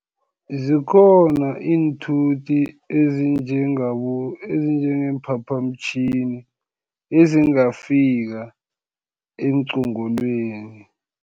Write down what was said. Zikhona iinthuthi ezinjengeemphaphamtjhini, ezingafika eenqongolweni.